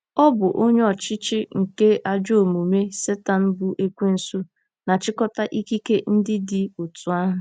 Ọ̀ bụ onye ọchịchị nke ajọ omume— Setan bụ́ Ekwensu na-achịkọta ikike ndị dị otú ahụ?